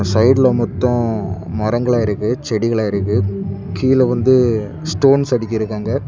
சைடுல மொத்தம் மரங்கள் இருக்கு செடிகள் இருக்கு கீழ வந்து ஸ்டோன்ஸ் அடிக்கிறாங்க.